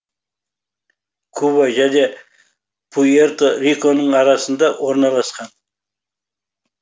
куба және пуэрто риконың арасында орналасқан